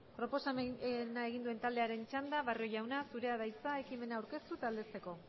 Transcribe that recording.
proposamena egin duen taldearen txanda barrio jauna zurea da hitza ekimena aurkeztu eta aldezteko